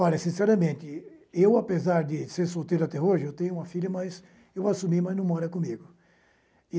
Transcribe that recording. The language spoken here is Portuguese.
Olha, sinceramente, eu, apesar de ser solteiro até hoje, eu tenho uma filha, mas eu assumi, mas não mora comigo.